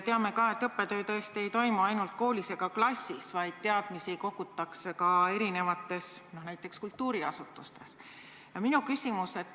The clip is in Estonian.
Teame ka, et õppetöö tõesti ei toimu ainult koolis ega klassis, vaid teadmisi kogutakse ka mujal, näiteks kultuuriasutustes.